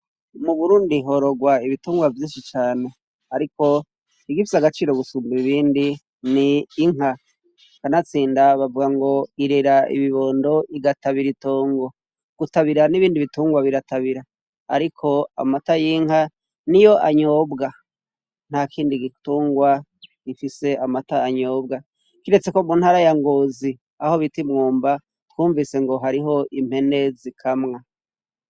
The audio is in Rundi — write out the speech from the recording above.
Mu burundi hororwa ibitungwa vyinshi cane, ariko igipye agaciro gusumba ibindi ni inka kanatsinda bavwa ngo irera ibibondo igatabira itongo gutabira n'ibindi bitungwa biratabira, ariko amata y'inka ni yo anyobwa nta kindi gitungwa ifise amatanyobwa kiretse ko muntarayangozi aho bitimwumba twumvise ngo hariho impene zikamwa.